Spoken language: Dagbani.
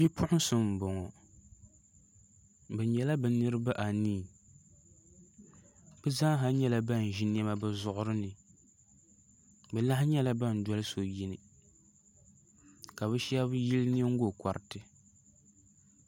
Bipuɣunsi n bɔŋɔ bi nyɛla bi niraba anii bi zaaha nyɛla ban ʒi niɛma bi zuɣuri ni bi lahi nyɛla ban dɔli so yini ka bi shab yili nyingokoriti